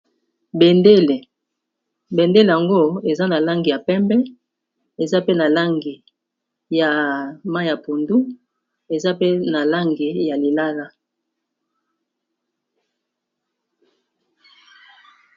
Bendele yango eza na langi ya pembe eza pe na langi ya mayi ya pondu eza pe na langi ya lilala.